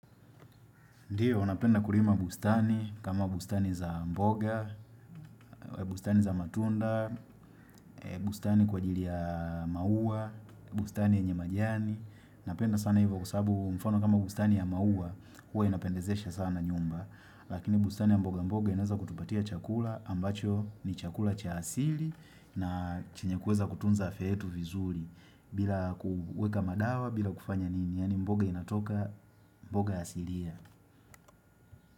Ndio, napenda kulima bustani kama bustani za mboga, bustani za matunda, bustani kwa ajili ya maua, bustani enye majiani. Napenda sana hivyo kwa sababu mfano kama bustani ya maua, huwa inapendezesha sana nyumba. Lakini bustani ya mboga mboga inaeza kutupatia chakula ambacho ni chakula cha asili na chenye kuweza kutunza afya yetu vizuri. Bila kuweka madawa, bila kufanya nini, yani mboga inatoka mboga asilia.